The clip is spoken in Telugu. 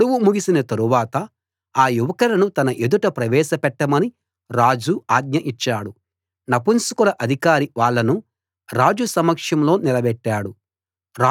గడువు ముగిసిన తరువాత ఆ యువకులను తన ఎదుట ప్రవేశపెట్టమని రాజు ఆజ్ఞ ఇచ్చాడు నపుంసకుల అధికారి వాళ్ళను రాజు సమక్షంలో నిలబెట్టాడు